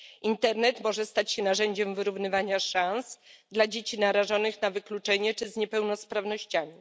Internet może stać się narzędziem wyrównywania szans dla dzieci narażonych na wykluczenie czy dzieci z niepełnosprawnościami.